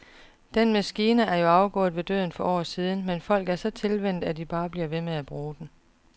Den maskine er jo afgået ved døden for år siden, men folk er så tilvænnet, at de bare bliver ved med at bruge den.